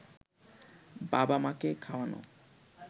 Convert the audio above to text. বাবা-মাকে খাওয়ানো